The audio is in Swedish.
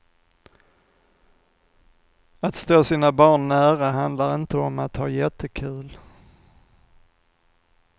Att stå sina barn nära handlar inte om att ha jättekul.